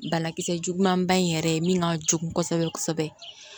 Banakisɛ juguman ba in yɛrɛ ye min ka jugu kosɛbɛ kosɛbɛ